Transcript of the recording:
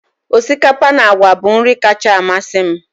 Osikapa na àgwà bụ nri kacha amasị m